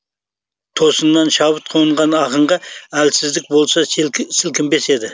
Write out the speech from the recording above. тосыннан шабыт қонған ақынға әлсіздік болса сілкінбес еді